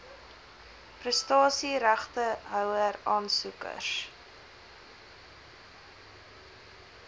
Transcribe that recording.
prestasie regtehouer aansoekers